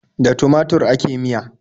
Da tumatur ake miya.